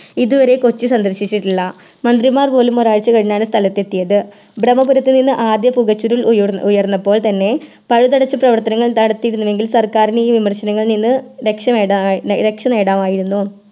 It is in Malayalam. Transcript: ഇതുവരെ കൊച്ചി സന്ദർശിച്ചിട്ടുള്ള മന്ത്രിമാർ പോലും ഒരാഴ്ച്ച കഴിഞ്ഞാണ് സ്ഥലത്തെത്തിയത് ബ്രമ്മപുറത്തുനിന്ന് ആദ്യ പുകചുരുൾ ഉയർ ഉയർന്നപ്പോൾ തന്നെ പഴുതടച്ച് പ്രവർത്തനങ്ങൾ നടത്തിയിരുന്നുവങ്കിൽ സർക്കാരിന് ഈ വിമർശനങ്ങളിൽ നിന്ന് രക്ഷ നേട രക്ഷനേടാമായിരുന്നു